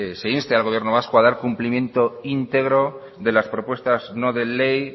se inste al gobierno vasco a dar cumplimiento íntegro de las propuestas no de ley